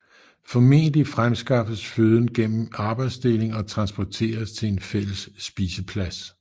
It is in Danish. Formentlig fremskaffes føden gennem arbejdsdeling og transporteres til en fælles spiseplads